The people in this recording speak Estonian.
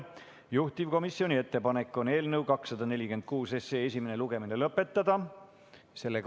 Juhtivkomisjoni ettepanek on eelnõu 246 esimene lugemine lõpetada.